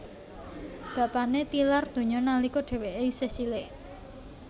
Bapané tilar donya nalika dhèwèké isih cilik